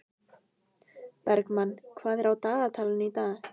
Bergmann, hvað er á dagatalinu í dag?